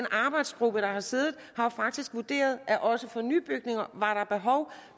arbejdsgruppe der har siddet faktisk vurderet at også for nybygninger var der behov